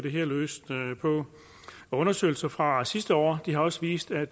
her løst på undersøgelser fra sidste år har også vist at